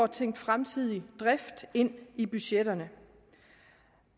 tænkt fremtidig drift ind i budgetterne